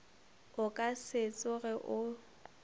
o ka se tsoge o